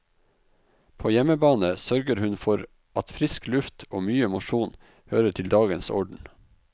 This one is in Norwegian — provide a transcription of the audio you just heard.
På hjemmebane sørger hun for at frisk luft og mye mosjon hører til dagens orden.